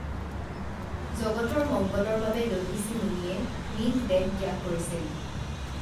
জগতৰ মঙ্গলৰ বাবে দধিচি মুনিয়ে নিজ দেহ ত্যাগ কৰিছিল